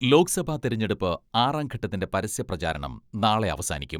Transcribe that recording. ലോക്സഭാ തെരഞ്ഞെടുപ്പ് ആറാം ഘട്ടത്തിന്റെ പരസ്യ പ്രചാരണം നാളെ അവസാനിക്കും.